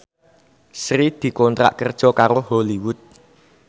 Sri dikontrak kerja karo Hollywood